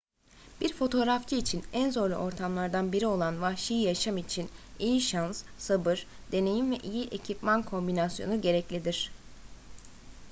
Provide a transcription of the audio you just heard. bir fotoğrafçı için en zorlu ortamlardan biri olan vahşi yaşam için iyi şans sabır deneyim ve iyi ekipman kombinasyonu gereklidir